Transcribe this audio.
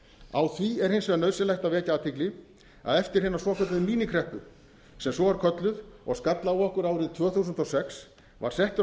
á því er hins vegar nauðsynlegt að vekja athygli að eftir hina svokölluðu míníkreppu sem svo er kölluð og skall á okkur árið tvö þúsund og sex var settur á